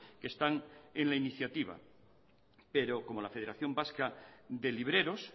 que están en la iniciativa pero como la federación vasca de libreros